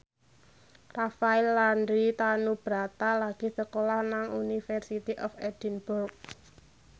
Rafael Landry Tanubrata lagi sekolah nang University of Edinburgh